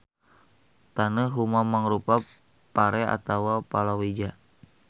Taneuh huma mangrupa pare atawa palawija.